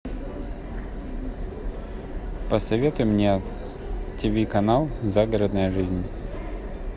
посоветуй мне тиви канал загородная жизнь